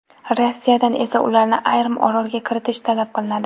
Rossiyadan esa ularni yarim orolga kiritish talab qilinadi.